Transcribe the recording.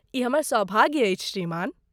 ई हमर सौभाग्य अछि श्रीमान।